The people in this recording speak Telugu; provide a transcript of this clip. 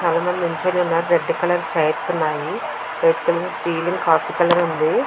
చాలామంది నిల్చున్నారు రెడ్ కలర్ చైర్స్ ఉన్నాయి రెడ్ కలర్ కాఫీ కలర్ ఉంది.